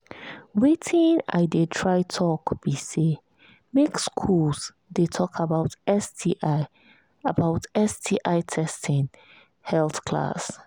watin i they try talk be say make school they talk about sti about sti testing health class